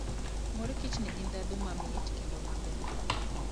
Mor kich nigi ndhadhu mamit kendo maber.